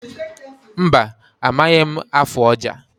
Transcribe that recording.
Mba, amaghị m afụ ọja.